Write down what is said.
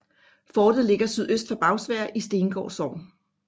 Fortet ligger sydøst for Bagsværd i Stengård Sogn